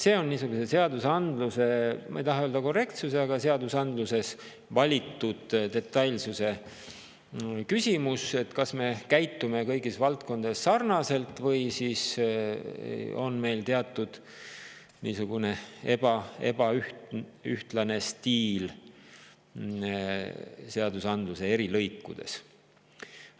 See on seadusandluse, ma ei taha öelda korrektsuse, vaid seadusandluses valitud detailsuse küsimus: kas me ikka käitume kõikides valdkondades sarnaselt või siis on meil mõnel määral ebaühtlane stiil seadusandluse eri lõikudes.